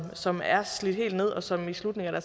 som er slidt helt ned og som i slutningen af